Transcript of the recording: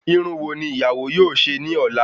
Irun wo ni ìyàwó yóò ṣe ní ola